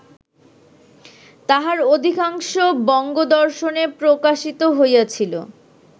তাহার অধিকাংশ বঙ্গদর্শনে প্রকাশিত হইয়াছিল